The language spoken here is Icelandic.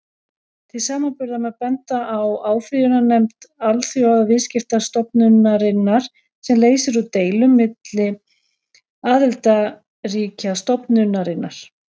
Til samanburðar má benda á áfrýjunarnefnd Alþjóðaviðskiptastofnunarinnar, sem leysir úr deilum milli aðildarríkja stofnunarinnar.